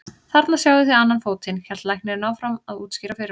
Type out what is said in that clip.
Þarna sjáið þið annan fótinn, hélt læknirinn áfram að útskýra fyrir okkur.